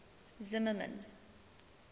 zimmermann